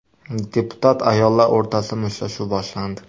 Deputat ayollar o‘rtasida mushtlashuv boshlandi.